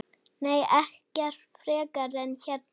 Nei, ekkert frekar en hérna.